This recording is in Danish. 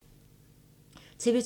TV 2